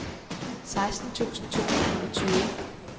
seksten tusind to hundrede og tyve